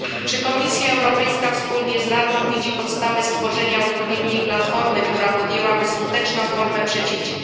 Czy Komisja Europejska wspólnie z Radą widzi podstawy stworzenia odpowiedniej platformy, która podjęłaby skuteczną formę przeciwdziałania...